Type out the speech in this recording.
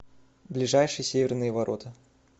ближайший северные ворота